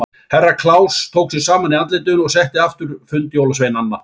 Herra Kláus tók sig saman í andlitinu og setti aftur fund jólasveinanna.